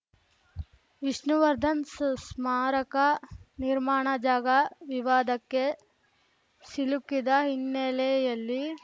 ವಿಷ್ಣುವರ್ಧನ್‌ ಸ್ಮಾರಕ ನಿರ್ಮಾಣ ಜಾಗ ವಿವಾದಕ್ಕೆ ಸಿಲುಕಿದ ಹಿನ್ನೆಲೆಯಲ್ಲಿ